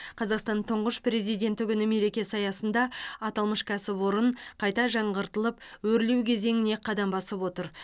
қазақстан тұңғыш президенті күні мерекесі аясында аталмыш кәсіпорын қайта жаңғыртылып өрлеу кезеңіне қадам басып отыр